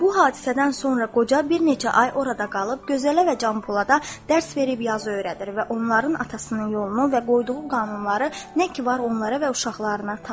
Bu hadisədən sonra qoca bir neçə ay orada qalıb, gözələ və Canpolada dərs verib yazı öyrədir və onların atasının yolunu və qoyduğu qanunları nə ki var onlara və uşaqlarına tanıdır.